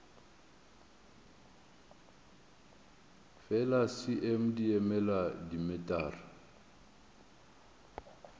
fela cm di emela dimetara